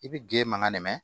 I bi ge mankan ne mɛn